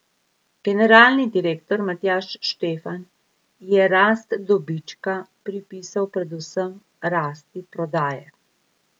Generalni direktor Matjaž Štefan je rast dobička pripisal predvsem rasti prodaje.